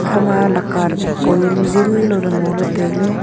ikhama laka hiko yaonu zinlaoley ngoley tailey.